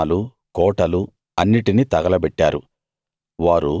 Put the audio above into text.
వారి పట్టణాలు కోటలు అన్నిటిని తగలబెట్టారు